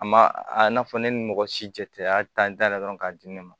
A ma a n'a fɔ ne ni mɔgɔ si cɛ a y'a ta da yɛlɛ dɔrɔn k'a di ne ma